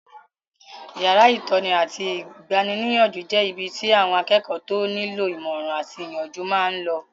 Yàrá ìtọ́ni àti igbaníniyànjú jẹ́ ibi tí àwọn akẹ́kọ̀ọ́ tó nílò ìmọ̀ràn àti ìyànjú máa n lọ